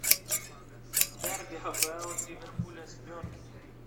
дерби хпл ливерпуля с бернли